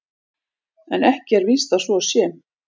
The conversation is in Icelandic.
En ekki er víst að svo sé.